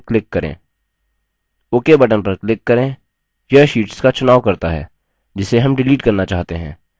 ok button पर click करें यह शीट्स का चुनाव करता है जिसे हम डिलीट करना चाहते हैं